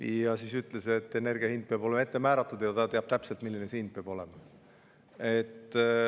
Ja siis ütles, et energia hind peab olema ette määratud ja ta teab täpselt, milline see hind peab olema.